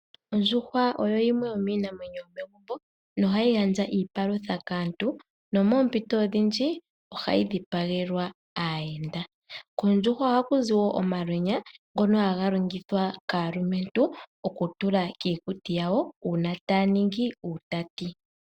Oondjuhwa oyo yimwe yomiinamwenyo yomegumbo nohayi gandja iipalutha kaantu. Nomoompito odhindji ohayi dhipagelwa aayenda. Kondjuhwa ohaku zi wo omalwenya ngono haga longithwa kaalumentu oku tula kiikuti yawo uuna taya ningi uutati.